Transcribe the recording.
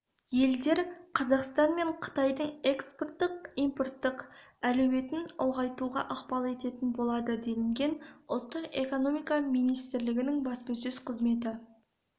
елдер қазақстан мен қытайдың экспорттық-импорттық әлеуетін ұлғайтуға ықпал ететін болады делінген ұлттық экономика министрлігінің баспасөз қызметі